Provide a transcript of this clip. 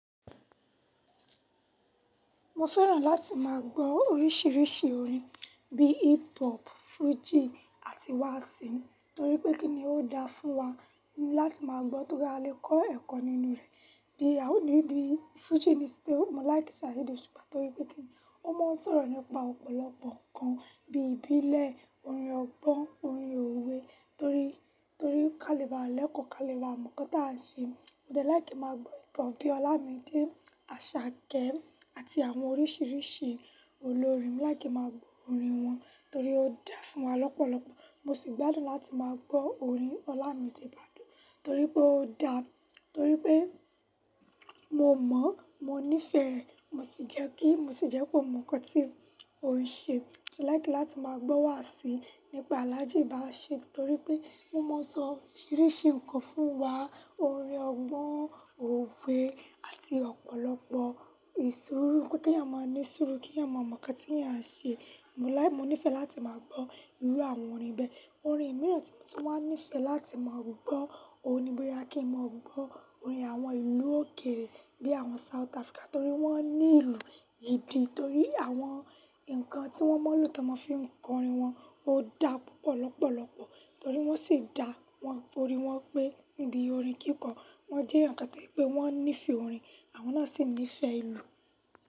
Mo fẹ́ràn láti máa gbọ́ oríṣiríṣi orin bíi hip hop, Fuji àti wáàsí, torí pé kí ni ó da fún wa láti máa gbọ́ tóri a lè kọ́ ẹ̀kọ́ nínú rẹ̀. Bí, a ò ní bí, Fuji ni síte, mo like Saheed Osupa torí pé kí ni ó ma n sọ̀rọ̀ nípa ọ̀pọ̀lọpọ̀ ǹkan bí ìbílẹ̀, orin ọgbọ́n, orin òwe torí, torí ka lè baa lẹ́kọ̀ọ́ ka lè ba mo ǹkan tá n ṣe. Mo dẹ like kí n máa gbọ́ hip-hop bí i Ọlámídé, Àṣàkẹ́ àti àwọn oríṣiríṣi olórin. Mo like kí n máa gbọ́ orin wọn torí ó dá fún wa lọ́pọ̀lọpọ̀. Mo sì gbádùn láti máa gbọ́ orin Ọlámídé Bádoo torí pé ó da, torí pé mo mọ̀, mo nífẹ̀ẹ́ rẹ̀. Mo sì jẹ́ kí, mo sì jẹ́ pé mò mọ̀ ǹkan tí orin ṣe. Mo sì like láti máa gbọ́ wáàsí nípa Alhaji Bashir torí pé wọ́n ma n sọ oríṣiríṣi ǹkan fún wa. Orin ọgbọ́n, òwe àti ọ̀pọ̀lọpọ̀ ìṣuuru pé kí èyàn máa ní sùúrù, kí èyàn máa mọ̀ ǹkan tí a ń ṣe. Mo láì, mo nífẹ̀ẹ́ láti máa gbọ́ irú àwọn orin bẹ́ẹ̀. Orin mìíràn tí mo tún máa ń nífẹ̀ẹ́ láti máa gbọ́, òun ni bóyá kí n máa gbọ́ orin àwọn ìlú òkèrè bí i àwọn South Africa torí wọ́n ní ìlù idì. Torí àwọn ǹkan tí wọ́n máa ń lò tí wọn fi ń kọ orin wọn ó da púpọ̀ lọ́pọ̀lọpọ̀. Torí wọ́n sì dá wọn orí wọn pé nibí i orin kíkọ. Wọ́n jẹ́ èyàn kan tó jẹ́ pé wọ́n nífẹ̀ẹ́ orin, àwọn náà sì nífẹ̀ẹ́ ìlú.